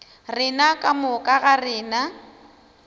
rena ka moka ga rena